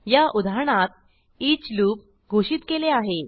या उदाहरणात each loop घोषित केले आहे